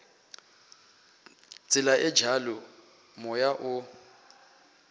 tsela e bjalo moya o